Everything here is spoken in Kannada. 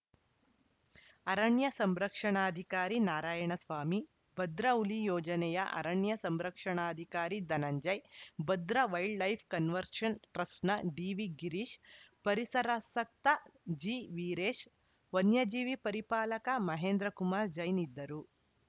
ಅರಣ್ಯ ಸಂರಕ್ಷಣಾಧಿಕಾರಿ ನಾರಾಯಣಸ್ವಾಮಿ ಭದ್ರಾ ಹುಲಿ ಯೋಜನೆಯ ಅರಣ್ಯ ಸಂರಕ್ಷಣಾಧಿಕಾರಿ Dhananjay Bhadra wildlife conservation ಟ್ರಸ್ಟ್‌ನ ಡಿವಿ ಗಿರೀಶ್‌ ಪರಿಸರಾಸಕ್ತ ಜಿವೀರೇಶ್‌ ವನ್ಯಜೀವಿ ಪರಿಪಾಲಕ ಮಹೇಂದ್ರ ಕುಮಾರ್‌ ಜೈನ್‌ ಇದ್ದರು